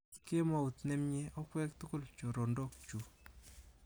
Kemout nemnyie okwek tugul chorondok chu.